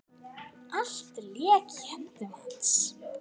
Allt lék í höndum hans.